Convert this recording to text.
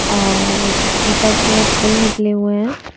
और ऊपर से पुल निकले हुए हैं।